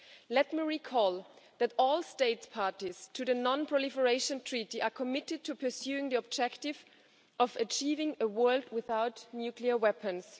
Let me recall that all states party to the non proliferation treaty are committed to pursuing the objective of achieving a world without nuclear weapons.